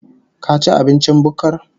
Ka ci abincin bukkar?